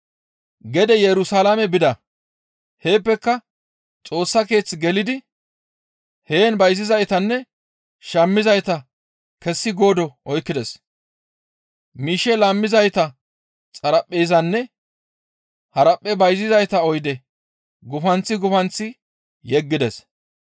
Gede Yerusalaame bida; heeppeka Xoossa Keeththe gelidi heen bayzizaytanne shammizayta kessi goodo oykkides. Miishshe laammizayta xaraphpheezanne haraphphe bayzizayta oyde gufanththi gufanththi yeggides.